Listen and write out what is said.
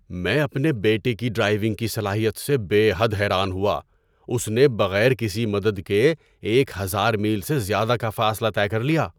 میں اپنے بیٹے کی ڈرائیونگ کی صلاحیت سے بے حد حیران ہوا! اس نے بغیر کسی مدد کے ایک ہزار میل سے زیادہ کا فاصلہ طے کر لیا!